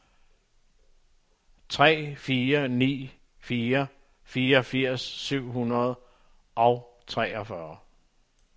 tre fire ni fire fireogfirs syv hundrede og treogfyrre